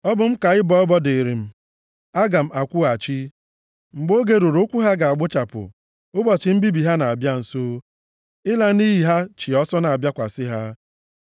Ọ bụ m ka ịbọ ọbọ dịrị m, aga m akwụghachi. Mgbe oge ruru ụkwụ ha ga-agbuchapụ, ụbọchị mbibi ha na-abịa nso, ịla nʼiyi ha chị ọsọ na-abịakwasị ha.”